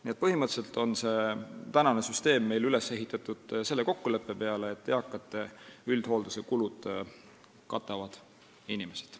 Nii et põhimõtteliselt on see süsteem üles ehitatud selle kokkuleppe peale, et eakate üldhoolduse kulud katavad inimesed.